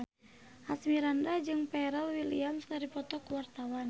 Asmirandah jeung Pharrell Williams keur dipoto ku wartawan